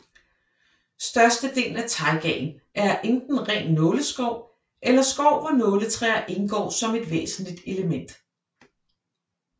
Størstedelen af taigaen er enten ren nåleskov eller skov hvor nåletræer indgår som et væsentligt element